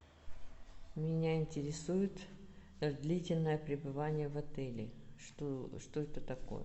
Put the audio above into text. меня интересует длительное пребывание в отеле что это такое